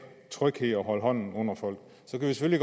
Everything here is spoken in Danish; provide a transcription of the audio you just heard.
tryghed og holde hånden under folk så kan vi